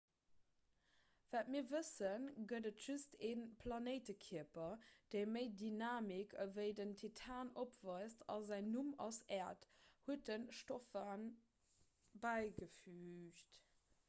wat mir wëssen gëtt et just ee planéitekierper dee méi dynamik ewéi den titan opweist a säin numm ass äerd huet de stofan bäigefüügt